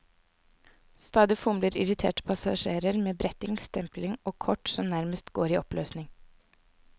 Stadig fomler irriterte passasjerer med bretting, stempling og kort som nærmest går i oppløsning.